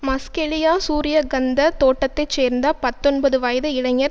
மஸ்கெலியா சூரியகந்த தோட்டத்தை சேர்ந்த பத்தொன்பது வயது இளைஞர்